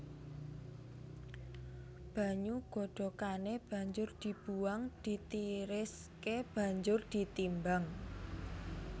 Banyu godhokané banjur dibuwang ditiriské banjur ditimbang